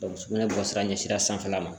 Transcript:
sugunɛ bɔsira ɲɛsin sanfɛla ma